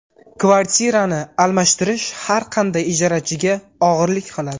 Kvartirani almashtirish har qanday ijarachiga og‘irlik qiladi.